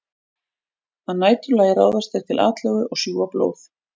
Að næturlagi ráðast þeir til atlögu og sjúga blóð.